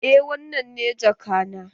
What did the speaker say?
Eh wannan ne jaka na.